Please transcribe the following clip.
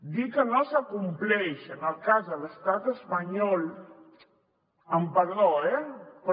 dir que no s’acompleix en el cas de l’estat espanyol amb perdó eh però